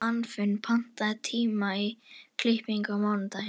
Anfinn, pantaðu tíma í klippingu á mánudaginn.